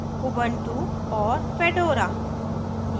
* ubuntu ubuntu और * fedora fedora